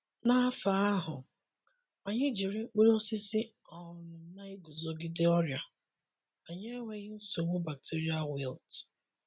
N’afọ ahụ, anyị jiri mkpụrụ osisi um na-eguzogide ọrịa, anyị enweghị nsogbu bacterial wilt.